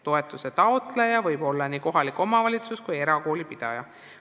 Toetuse taotleja võib olla nii kohalik omavalitsus kui erakoolipidaja.